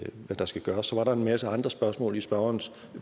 der skal gøres så var der en masse andre spørgsmål i spørgerens